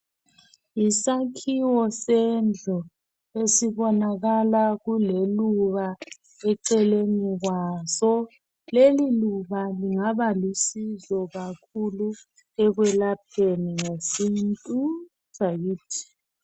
Yisakhiwo sendlu esibonakala kuleluba eceleni kwaso. Leli luba lingabalusizo kakhulu ekwelapheni ngesintu sakithi.